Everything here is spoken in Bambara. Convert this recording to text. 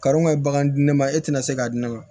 Karo ka baga di ne ma e tɛna se k'a di ne ma